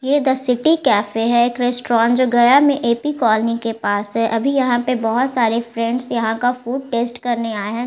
ये the city cafe है एक रेस्टोरेंट जो गया में ए.पी. कॉलोनी के पास है अभी यहाँ पे बहोत सारे फ़्रेंड्स यहाँ का फूड टेस्ट करने आए हैं।